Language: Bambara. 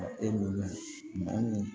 E m'o la mɔgɔ min